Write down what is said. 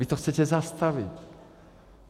Vy to chcete zastavit.